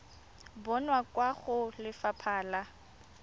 bonwa kwa go lefapha la